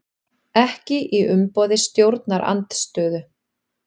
Ekki í umboði stjórnarandstöðu